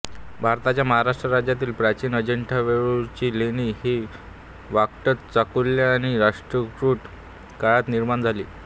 भारताच्या महाराष्ट्र राज्यातील प्राचीन अजिंठावेरूळची लेणी ही वाकाटक चालुक्य आणि राष्ट्रकूट काळात निर्माण झाली